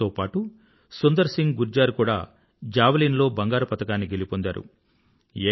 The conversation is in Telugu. ఆయనతో పాటూ సుందర్ సింగ్ గుర్జర్ కూడా జావలిన్ లో బంగారు పతకాన్ని గెలుపొందారు